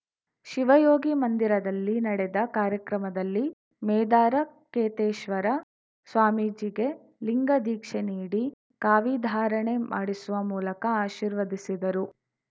ಶಿವಯೋಗಿ ಮಂದಿರದಲ್ಲಿ ನಡೆದ ಕಾರ್ಯಕ್ರಮದಲ್ಲಿ ಮೇದಾರ ಕೇತೇಶ್ವರ ಸ್ವಾಮೀಜಿಗೆ ಲಿಂಗ ದೀಕ್ಷೆ ನೀಡಿ ಕಾವಿ ಧಾರಣೆ ಮಾಡಿಸುವ ಮೂಲಕ ಆಶೀರ್ವದಿಸಿದರು